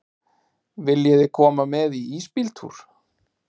Viljiði koma með í ísbíltúr?